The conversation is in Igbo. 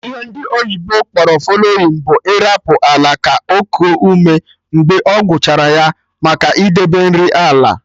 Ihe ndị oyibo kpọrọ fallowing bụ ịrapụ ala ka okuo ume mgbe e gwụchara ya, maka idebe nri ala